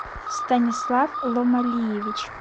станислав ломалиевич